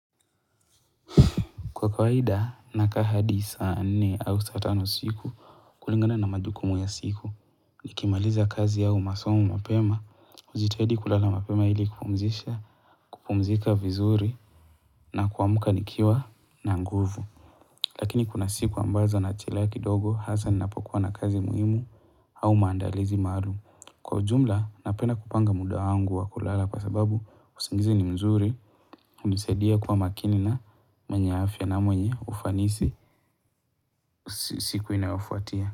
Kwa kawaida, nakaa hadi saa nne au saa tano isiku kulingana na majukumu ya siku. Nikimaliza kazi au masomo mapema, hujitahidi kulala mapema ili kupumzika vizuri na kuamka nikiwa na nguvu. Lakini kuna siku ambazo nachelewa kidogo hasa ninapokuwa na kazi muhimu au maandalizi malu. Kwa ujumla, napenda kupanga muda wangu wa kulala kwa sababu usingizi ni mzuri, hunisaidia kuwa makini na mwenye afya na mwenye ufanisi siku inayofuatia.